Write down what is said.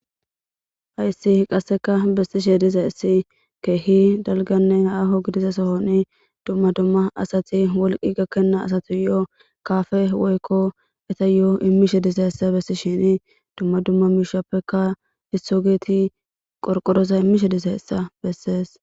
Hayisi qasseka bessishe diza issi keehi dalganne aaho gidiza sohoni dumma dumma asati wolqi gakkenna asati yo'o kaafe woykko eta yo'o immishe disa essa bessi shini dumma dumma miishappeka hisso geeti qorqorosa immishe disa essa bessees